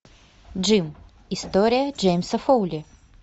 джим история джеймса фоули